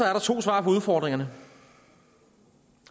er der to svar på udfordringerne